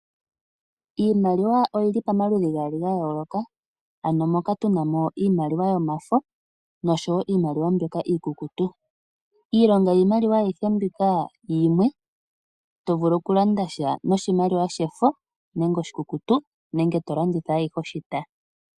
Iimaliwa oyili pamaludhi gaali ga yooloka, ano moka tuna mo iimaliwa yomafo no sho woo iimaliwa mbyoka iikukutu. Iilonga yiimaliwa ayihe mbyoka yimwe ,to vulu oku landa sha noshimaliwa shefo nenge oshikukutu nenge to longitha ayihe oshita.